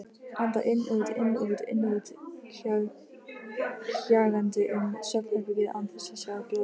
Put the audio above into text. Anda inn-út-inn-út-inn-út, kjagandi um svefnherbergið án þess að sjá glóru.